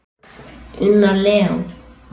Unnar Leó.